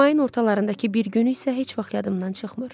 Mayın ortalarındakı bir günü isə heç vaxt yadımdan çıxmır.